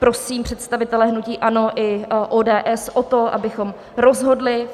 Prosím představitele hnutí ANO i ODS o to, abychom rozhodli.